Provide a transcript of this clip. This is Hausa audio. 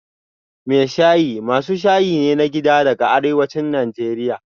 Mai shayi masu shayi ne na gida daga arewacin Najeriya